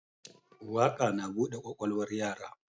Waƙa na bude kwakwalwar yara